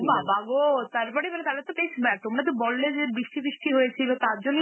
ও বাবা গো! তারপরে, মানে তাহলে তো . তোমরা তো বললে যে বৃষ্টি সৃষ্টি হয়েছিল, তার জন্যই